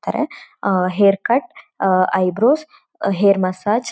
ತ್ತಾರೆ ah hair cut ah eyebrows hair massage --